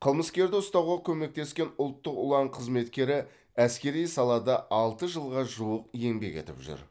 қылмыскерді ұстауға көмектескен ұлттық ұлан қызметкері әскери салада алты жылға жуық еңбек етіп жүр